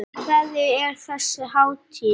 Fyrir hverja er þessi hátíð?